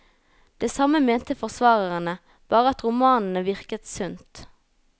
Det samme mente forsvarerne, bare at romanene virket sunt.